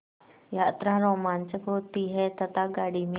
यात्रा रोमांचक होती है तथा गाड़ी में